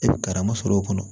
E bɛ karama sɔrɔ o kɔnɔ